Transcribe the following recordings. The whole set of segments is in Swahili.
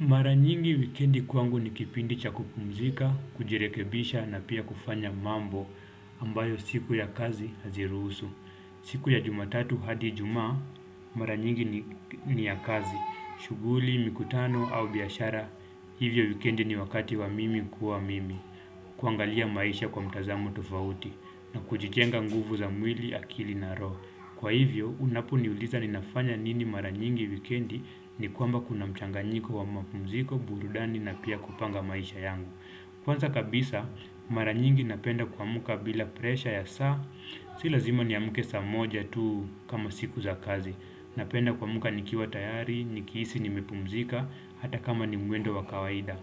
Mara nyingi wikendi kwangu ni kipindi chakupumzika, kujirekebisha na pia kufanya mambo ambayo siku ya kazi haziruhusu. Siku ya jumatatu hadi ijumaa mara nyingi ni ni ya kazi, shughuli, mikutano au biashara, hivyo wikendi ni wakati wa mimi kuwa mimi. Kuangalia maisha kwa mtazamo tofauti na kujijenga nguvu za mwili akili na ro. Kwa hivyo, unaponiuliza ninafanya nini mara nyingi wikendi ni kwamba kuna mchanganyiko wa mapumziko, burudani na pia kupanga maisha yangu. Kwanza kabisa, mara nyingi napenda kuamka bila presha ya saa, silazima niamke saa moja tu kama siku za kazi. Napenda kuamka nikiwa tayari, nikiisi ni mepumzika, hata kama ni mwendo wa kawaida.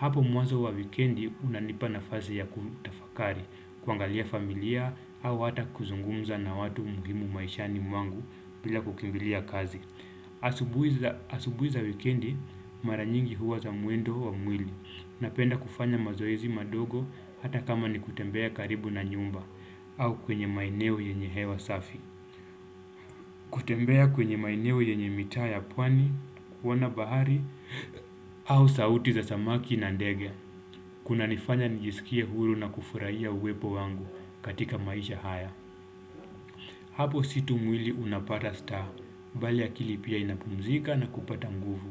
Hapo mwazo wa wikendi unanipa na fazi ya kutafakari, kuangalia familia au hata kuzungumza na watu muhimu maishani mwangu bila kukimbilia kazi. Asubuhi Asubuiza wikendi maranyingi huwa za muendo wa mwili na penda kufanya mazoezi madogo hata kama ni kutembea karibu na nyumba au kwenye maeneo yenye hewa safi. Kutembea kwenye maeneo yenye mitaa ya pwani, kuona bahari au sauti za samaki na ndege. Kuna nifanya nijisikie huru na kufurahia uwepo wangu katika maisha haya. Hapo situ mwili unapata star. Bale akili pia inapumzika na kupata nguvu.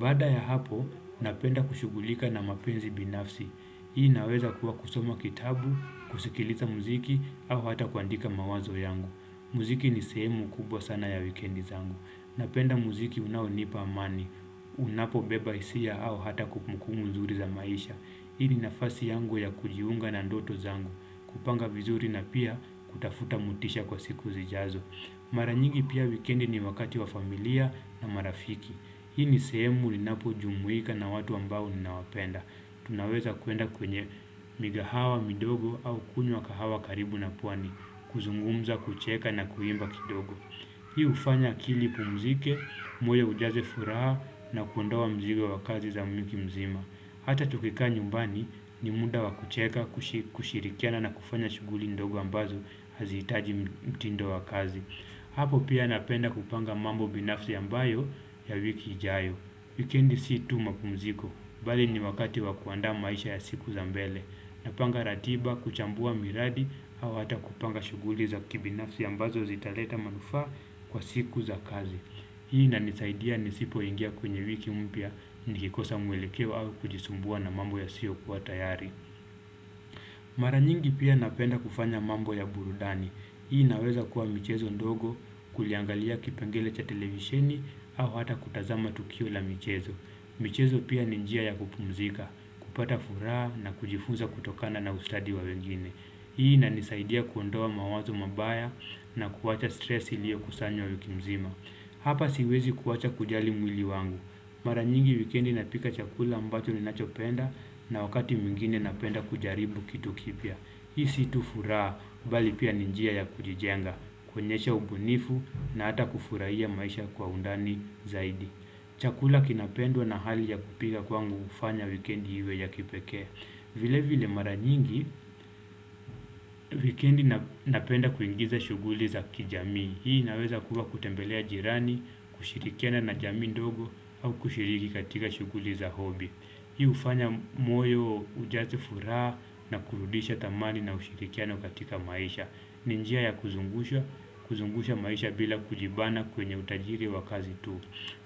Baada ya hapo, napenda kushughulika na mapenzi binafsi. Hii naweza kuwa kusoma kitabu, kusikiliza muziki, au hata kuandika mawazo yangu. Muziki ni sehemu kubwa sana ya weekendi zangu. Napenda muziki unao nipa amani. Unapo beba hisia au hata kumukumu nzuri za maisha. Hii ni nafasi yangu ya kujiunga na ndoto zangu, kupanga vizuri na pia kutafuta mutisha kwa siku zijazo. Maranyingi pia weekendi ni wakati wa familia na marafiki. Hii ni sehemu linapo jumuika na watu ambao ninawapenda. Tunaweza kuenda kwenye migahawa, midogo au kunywa kahawa karibu na pwani, kuzungumza, kucheka na kuimba kidogo. Hii ufanya akilipu mzike, moyo ujaze furaha na kuondoa mzigo wa kazi za mwiki mzima. Hata tukikaa nyumbani ni muda wakucheka kushi kushirikiana na kufanya shuguli ndogo ambazo hazi itaji mtindo wa kazi. Hapo pia napenda kupanga mambo binafsi ambayo ya wiki ijayo. Wikendi si tu mapumziko, bali ni wakati wakuandaa maisha ya siku za mbele. Napanga ratiba, kuchambua miradi au hata kupanga shuguli za kibinafsi ambazo zitaleta manufaa kwa siku za kazi. Hii na nisaidia nisipo ingia kwenye wiki mpya ni kikosa mwelekeo au kujisumbua na mambo ya siyokua tayari. Mara nyingi pia napenda kufanya mambo ya burudani. Hii inaweza kuwa michezo ndogo, kuliangalia kipengele cha televisheni au hata kutazama tukio la michezo. Michezo pia ninjia ya kupumzika, kupata furaha na kujifunza kutokana na ustadi wa wengine. Hii inanisaidia kuondoa mawazo mabaya na kuacha stress ilio kusanya wikimzima. Hapa siwezi kuacha kujali mwili wangu. Maranyingi wikendi napika chakula ambacho ninachopenda na wakati mwingine napenda kujaribu kitu kipya. Hii situfuraa bali pia ninjia ya kujijenga, kuonyesha ubunifu na hata kufurahia maisha kwa undani zaidi. Chakula kinapendwa na hali ya kupika kwangu ufanya wikendi iwe ya kipekee. Vile vile mara nyingi, wikendi na napenda kuingiza shuguli za kijamii Hii inaweza kuwa kutembelea jirani, kushirikiana na jamii ndogo au kushiriki katika shuguli za hobi Hii ufanya moyo ujaze furaha na kurudisha thamani na ushirikiano katika maisha ninjia ya kuzungusha kuzungusha maisha bila kujibana kwenye utajiri wa kazi tu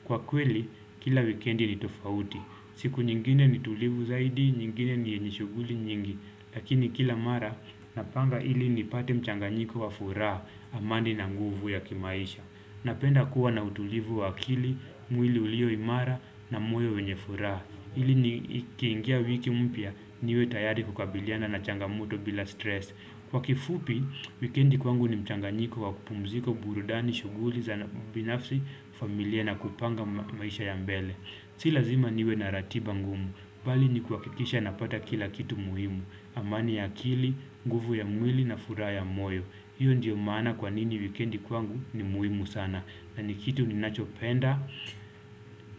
Kwa kweli, kila wikendi ni tofauti siku nyingine ni tulivu zaidi, nyingine ni nishuguli nyingi Lakini kila mara, napanga ili ni pate mchanga nyiko wa furaa, amani na nguvu ya kimaisha Napenda kuwa na utulivu wa akili, mwili ulio imara na moyo wenye furaa ili ni kiingia wiki mpya, niwe tayari kukabiliana na changamoto bila stress Kwa kifupi, weekendi kwangu ni mchanga nyiko wa kupumziko burudani, shuguli, za na binafsi, familia na kupanga maisha ya mbele Sila zima niwe na ratiba ngumu, bali ni kua kikisha napata kila kitu muhimu, amani ya akili, nguvu ya mwili na furaa ya moyo, hiyo ndio maana kwa nini wikendi kwangu ni muhimu sana, na ni kitu ni nacho penda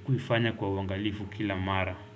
kuifanya kwa uangalifu kila mara.